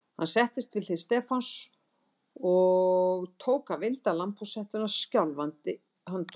Hann settist við hlið Stefáns og tók að vinda lambhúshettuna skjálfandi höndum.